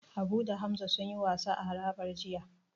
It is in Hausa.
Habu da Hamza sunyi wasa a harabar jiya.